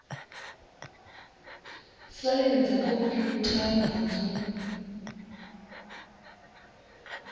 saini dza khomphutha na dzo